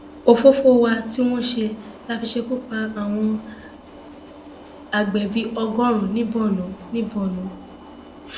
òfófó wa tí wọn ṣe la fi ṣekú pa àwọn àgbẹ bíi ọgọrin ní borno ní borno